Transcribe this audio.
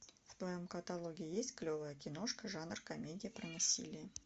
в твоем каталоге есть клевая киношка жанр комедия про насилие